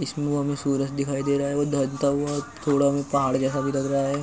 इसमें वो हमें सूरज दिखाई दे रहा है। वो धता हुआ थोड़ा पहाड़ जैसा भी लग रहा है